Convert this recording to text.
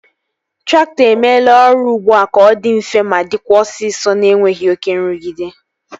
Traktọ emeela ọrụ ụgbọ ka ọ dị mfe ma dịkwa osisọ na-enweghị oké nrụgide